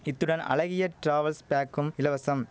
இத்துடன் அழகிய டிராவல்ஸ் பேக்கும் இலவசம்